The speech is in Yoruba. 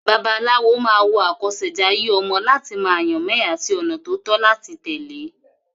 Babaláwo máa wo àkọsẹ̀jayé ọmọ láti mọ àyànmọ́ ẹ̀ àti ọ̀nà tó tọ́ láti tẹ̀lé.